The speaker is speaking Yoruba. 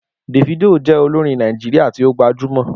Davido jẹ olorin Naijiria ti o gbajumọ.